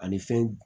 Ani fɛn